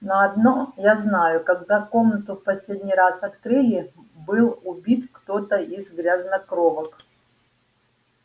но одно я знаю когда комнату в последний раз открыли был убит кто-то из грязнокровок